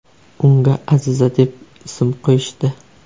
Unga Aziza deb ism qo‘yishdi.